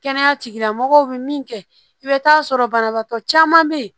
Kɛnɛya tigilamɔgɔw bɛ min kɛ i bɛ taa sɔrɔ banabaatɔ caman bɛ yen